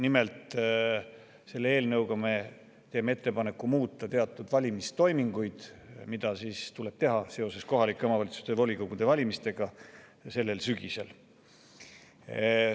Nimelt, selle eelnõuga me teeme ettepaneku muuta teatud valimistoiminguid, mida tuleb teha seoses kohalike omavalitsuste volikogude valimistega sellel sügisel.